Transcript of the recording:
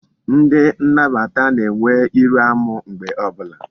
Ndi nnabata na-enwe iru amu mgbe obula